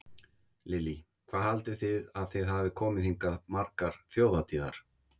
Lillý: Hvað haldið þið að þið hafið komið hingað margar þjóðhátíðar?